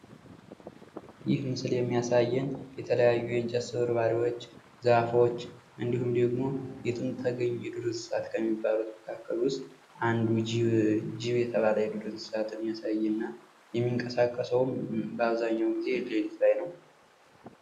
ይህ ምስል የሚያሳይን የተለያዩ የእንጨት ስብርባሪ ዛፎች እንዲሁም ደግሞ የትም ተገኝ ከሚባሉት እንስሳቶቻቸውን መካከል አንዱ እጅብ የተባለ እንስሳትን ያሳየናል። እና በአብዛኛው የሚንቀሳቀሰው ሌሊት ላይ ነው።